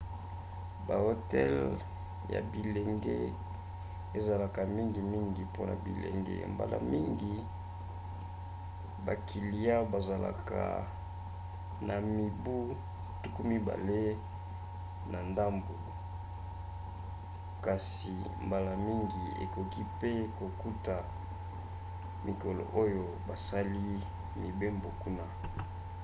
ba hotel ya bilenge ezalaka mingimngi mpona bilenge – mbala mingi bakiliya bazalaka na mibu 20 na ndambu – kasi mbala mingi okoki pe kokuta mikolo oyo basali mibembo kuna